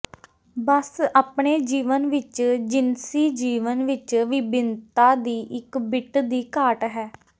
ਬਸ ਆਪਣੇ ਜੀਵਨ ਵਿਚ ਜਿਨਸੀ ਜੀਵਨ ਵਿਚ ਵਿਭਿੰਨਤਾ ਦੀ ਇੱਕ ਬਿੱਟ ਦੀ ਘਾਟ ਹੈ